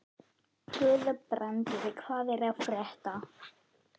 Guðbrandur, hvað er að frétta?